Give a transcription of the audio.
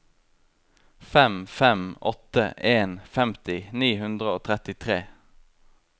fem fem åtte en femti ni hundre og trettitre